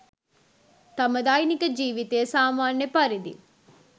තම දෛනික ජීවිතය සාමාන්‍ය පරිදි